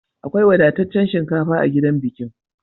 Akwai wadataccen shinkafa a gidan bikin.